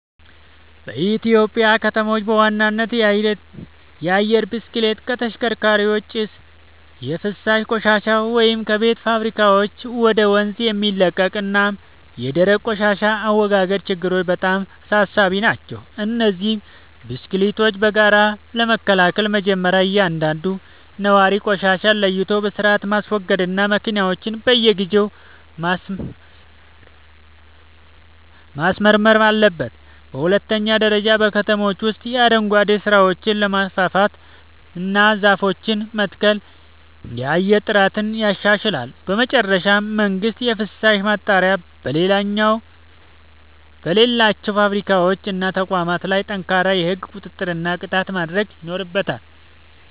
በኢትዮጵያ ከተሞች በዋናነት የአየር ብክለት (ከተሽከርካሪዎች ጭስ)፣ የፍሳሽ ቆሻሻ (ከቤቶችና ከፋብሪካዎች ወደ ወንዝ የሚለቀቅ) እና የደረቅ ቆሻሻ አወጋገድ ችግሮች በጣም አሳሳቢ ናቸው። እነዚህን ብክለቶች በጋራ ለመከላከል መጀመርያ እያንዳንዱ ነዋሪ ቆሻሻን ለይቶ በሥርዓት ማስወገድና መኪናውን በየጊዜው ማስመርመር አለበት። በሁለተኛ ደረጃ በከተሞች ውስጥ የአረንጓዴ ስፍራዎችን ማስፋፋትና ዛፎችን መትከል የአየር ጥራትን ያሻሽላል። በመጨረሻም መንግሥት የፍሳሽ ማጣሪያ በሌላቸው ፋብሪካዎችና ተቋማት ላይ ጠንካራ የሕግ ቁጥጥርና ቅጣት ማድረግ ይኖርበታል።